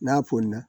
N'a pon na